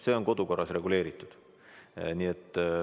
See on kodukorras reguleeritud.